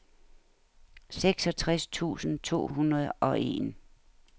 seksogtres tusind to hundrede og en